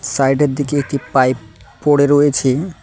Side -এর দিকে একটি পাইপ পড়ে রয়েছে।